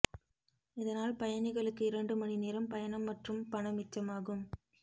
இதனால் பயணிகளுக்கு இரண்டு மணி நேரம் பயணம் மற்றும் பணம் மிச்சமாகும்